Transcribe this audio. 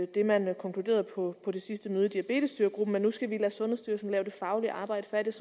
det man konkluderede på det sidste møde i diabetesstyregruppen man nu skulle lade sundhedsstyrelsen lave det faglige arbejde færdigt